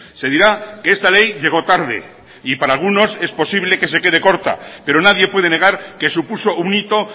se dirá que esta ley llegó tarde y para algunos es posible que se quede corta pero nadie puede negar que supuso un hito